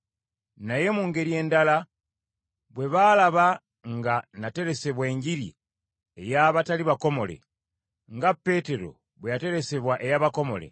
naye mu ngeri endala bwe baalaba nga nateresebwa Enjiri ey’abatali bakomole, nga Peetero bwe yateresebwa ey’abakomole,